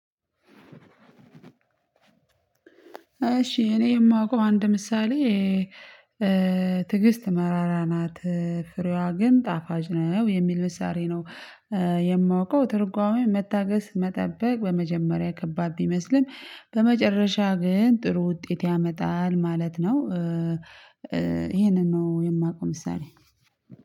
እሺ እኔ የማውቀው አንድ ምሳሌ ''ትዕግስት መራራ ናት ፍሬዋ ግን ጣፋጭ ነው'' የሚል ምሳሌ ነው። የማውቀው ትርጓሜ መታገስ መጠበቅ በመጀመሪያ ከባድ ቢመስልም በመጨረሻ ግን ጥሩ ውጤት ያመጣል ማለት ነው። ይሄንን ነው የማውቀው ምሳሌ።